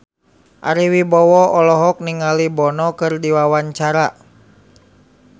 Ari Wibowo olohok ningali Bono keur diwawancara